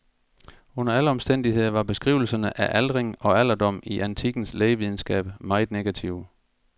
Under alle omstændigheder var beskrivelserne af aldring og alderdom i antikkens lægevidenskab meget negative.